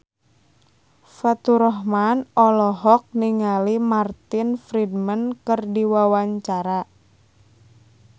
Faturrahman olohok ningali Martin Freeman keur diwawancara